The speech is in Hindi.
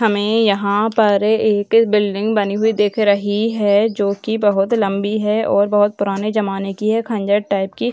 हमें यहां पर एक बिल्डिंग बनी हुई दिख रही है जो कि बहुत लंबी है और पुराने जमाने की है खंडर टाइप की।